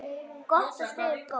Gott og stöðugt golf!